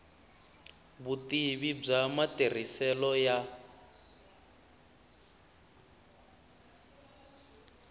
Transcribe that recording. vutivi bya matirhiselo ya